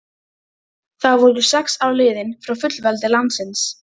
Þá voru sex ár liðin frá fullveldi landsins.